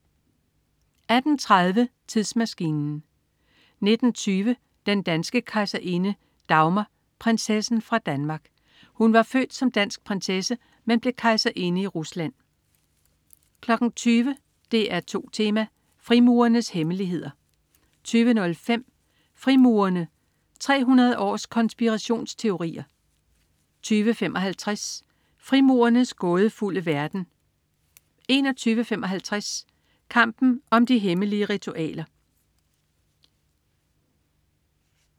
18.30 Tidsmaskinen 19.20 Den danske kejserinde. Dagmar, prinsessen fra Danmark. Hun var født som dansk prinsesse, men blev kejserinde i Rusland 20.00 DR2 Tema: Frimurernes hemmeligheder 20.05 Frimurerne. 300 års konspirationsteorier 20.55 Frimurernes gådefulde verden 21.55 Kampen om de hemmelige ritualer